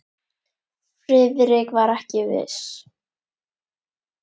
Friðrik var ekki viss.